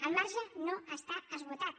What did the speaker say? el marge no està esgotat